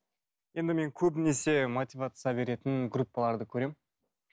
енді мен көбінесе мотивация беретін группаларды көремін